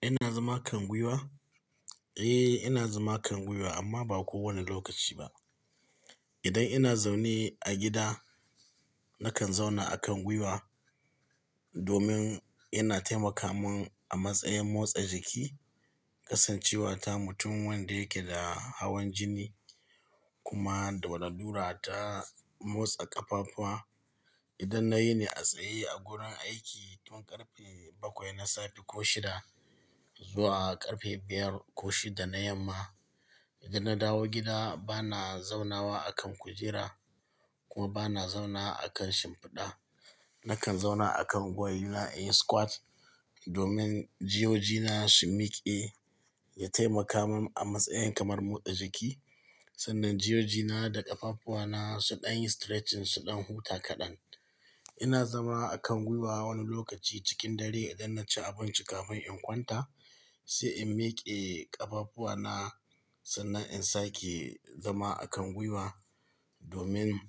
Ina zama a kan gwiwa? Eh, ina zama a kan gwiwa amma ba kowane lokaci ba idan ina zaune a gida nakan zauna a kan gwiwa domin yana taimaka mun a matsayin motsa jiki, kasancewa ta mutum wanda yake da hawan jini kuma da wadannura ta motsa ƙafafuwa. Idan na yi ne a tsaye a gurin aiki tun ƙarfe bakwai na safe ko shida zuwa ƙarfe biyar ko shida na yamma. Idan na dawo gida bana zaunawa a kan kujera kuma bana zauna a kan shimfiɗa. Nakan zauna a kan gwalina inyi squat domin jiyojina su miƙe, ya taimaka mun a matsayin kamar motsa jiki sannan jiyojina da ƙafafuwana su ɗan yi stretching, su ɗan huta kaɗan. Ina zama a kan gwiwa wani lokaci cikin dare idan na ci abinci kafin in kwanta sai in miƙe ƙafafuwana sannan in sake zama a kan gwiwa domin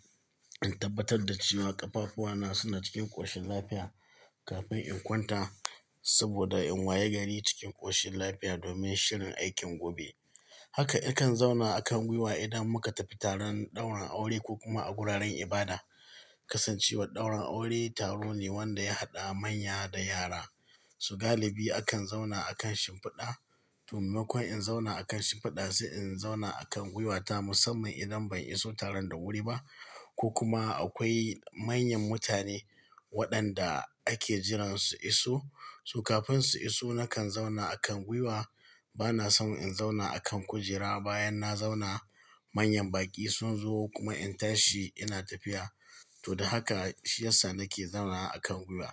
in tabbatar da cewa ƙafafuwana suna cikin ƙoshin lafiya kafin in kwanta. Saboda in waye gari cikin ƙoshin lafiya domin shirin aikin gobe. Haka, ikan zauna a kan gwiwa idan muka tafi taron ɗaurin aure ko kuma a guraren ibada. Kasancewar ɗaurin aure taro ne wanda ya haɗa manya da yara, su galibi akan zauna a kan shimfiɗa. Tummakon in zauna a kan shimfiɗa sai in zauna a kan gwiwata musamman idan ban iso taron da wuri ba ko kuma akwai manyan mutane waɗanda ake jiran su iso. Su kafin su iso nakan zauna a kan gwiwa. Bana son in zauna a kan kujera bayan na zauna manyan baƙi sun zo kuma in tashi ina tafiya. To, da haka shi yasa nake zauna a kan gwiwa.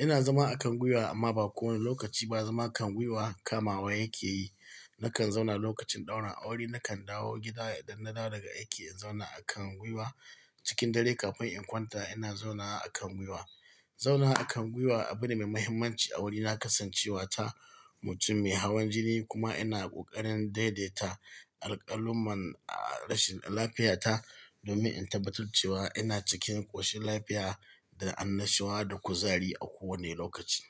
Ina zama a kan gwiwa amma ba kowane lokaci ba. Zama a kan gwiwa kamawa yake yi. Nakan zauna lokachin daurin aure nakan dawo gida idan na dawo daga aiki inzauna akan gwiwa cikin dare kafin inkwanta inazaunawa akan gwiwa, zaunawa akan gwiwa abune mai mahimmanchi a gurina kasancewata mutum mai hawan jini kuma ina ƙoƙarin daidaita alƙaluman a rashin lafiyata domin in tabbatar cewa ina cikin ƙoshin lafiya da annashuwa da kuzari a kowane lokaci.